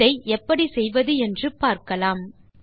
இதை எப்படி செய்வது என்று பார்க்கலாம்